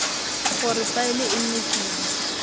gore faele e nne kima